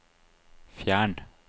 fjern